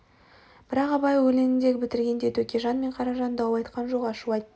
бірақ абай өлендн бітіргенде төкежан мен қаражан дау айтқан жоқ ашу айтты